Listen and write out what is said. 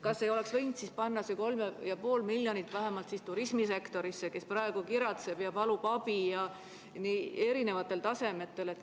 Kas ei oleks võinud panna seda 3,5 miljonit eurot vähemalt turismisektorisse, mis praegu kiratseb ja palub abi erinevatel tasanditel?